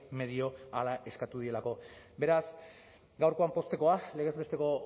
medio hala eskatu direlako beraz gaurkoan poztekoa legez besteko